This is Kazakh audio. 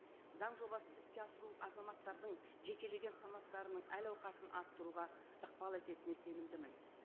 заң жобасын іске асыру азаматтардың жекелеген санаттарының әл ауқатын арттыруға ықпал ететіне сенімдімін